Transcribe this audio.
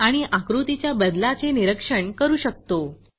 आणि आकृतीच्या बदलाचे निरीक्षण करू शकतो